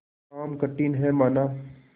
काम कठिन हैमाना